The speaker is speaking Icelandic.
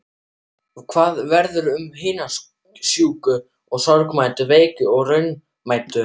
Hvað verður um hina sjúku og sorgmæddu, veiku og raunamæddu?